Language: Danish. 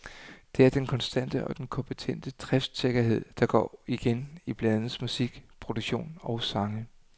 Det er den konstante og kompetente driftsikkerhed, der går igen i pladens musik, produktion og sange.